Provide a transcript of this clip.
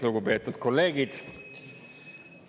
Lugupeetud kolleegid!